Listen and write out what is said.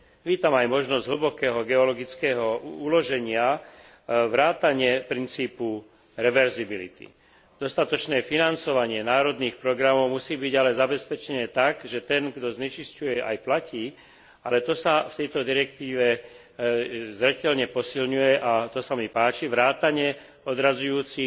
Vítam aj možnosť hlbokého geologického uloženia vrátane princípu reverzibility. Dostatočné financovanie národných programov musí byť ale zabezpečené tak, že ten, kto znečisťuje, aj platí, ale to sa v tejto direktíve zreteľne posilňuje a to sa mi páči vrátane, odradzujúcich